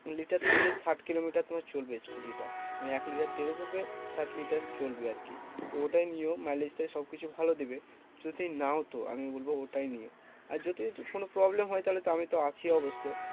Litre তেলে ষাট kilometre তোমার চলবে scooter টা। মানে এক লিটার তেল ভরবে ষাট লিটার চলবে আরকি। তো ওটাই নিও mileage টা সবকিছু ভালো দিবে। যদি নাও তো আমি বলবো ওটাই নিও। আর যদি একটু কোনো problem হয় তাহলে আমিতো আছি অবশ্য।